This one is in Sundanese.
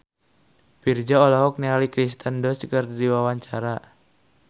Virzha olohok ningali Kirsten Dunst keur diwawancara